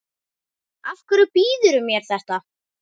Af hverju býðurðu mér þetta?